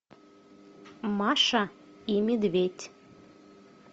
маша и медведь